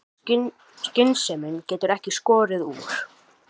Skynsemin getur ekki skorið úr.